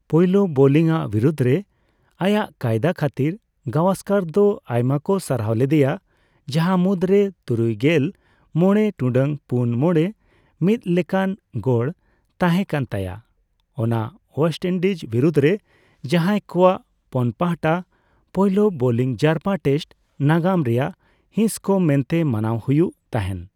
ᱯᱳᱭᱞᱳ ᱵᱳᱞᱤᱝ ᱟᱜ ᱵᱤᱨᱩᱫᱽ ᱨᱮ ᱟᱭᱟᱜ ᱠᱟᱭᱫᱟ ᱠᱷᱟᱛᱤᱨ ᱜᱟᱣᱚᱥᱠᱚᱨ ᱫᱚ ᱟᱭᱢᱟᱠᱚ ᱥᱟᱨᱦᱟᱣ ᱞᱮᱫᱮᱭᱟ ᱡᱟᱸᱦᱟ ᱢᱩᱫᱽ ᱨᱮ ᱛᱩᱨᱩᱭᱜᱮᱞ ᱢᱚᱲᱮ ᱴᱩᱰᱟᱹᱜ ᱯᱩᱱ ᱢᱚᱲᱮ ᱢᱤᱛᱞᱮᱠᱟᱱ ᱜᱚᱲ ᱛᱟᱸᱦᱮ ᱠᱟᱱ ᱛᱟᱭᱟ ᱚᱱᱟ ᱳᱭᱮᱥᱴ ᱤᱱᱰᱤᱡᱽ ᱵᱤᱨᱩᱫᱽ ᱨᱮ, ᱡᱟᱦᱟᱭ ᱠᱚᱣᱟᱜ ᱯᱳᱱᱯᱟᱦᱟᱴᱟ ᱯᱳᱭᱞ ᱵᱳᱞᱤᱝ ᱡᱟᱨᱯᱟ ᱴᱮᱥᱴ ᱱᱟᱜᱟᱢ ᱨᱮᱱᱟᱜ ᱦᱤᱸᱥᱠᱟ ᱢᱮᱱᱛᱮ ᱢᱟᱱᱟᱣ ᱦᱩᱭᱩᱜ ᱛᱟᱦᱮᱱ ᱾